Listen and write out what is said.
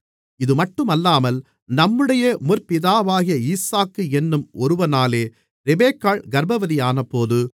இதுமட்டுமல்லாமல் நம்முடைய முற்பிதாவாகிய ஈசாக்கு என்னும் ஒருவனாலே ரெபெக்காள் கர்ப்பவதியானபோது